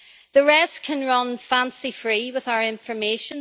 The rest can run fancy free with our information.